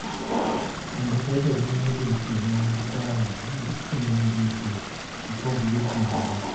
Kendo bedo gi migepe mag telo e migepe mopogore opogore,